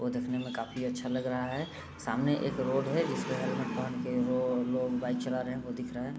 वो दिखने में काफी अच्छा लग रहा है। सामने एक रोड है जिसमे हेलमेट पेहेन के वो लोग बाइक चला रहे हैं वो दिख रहा है।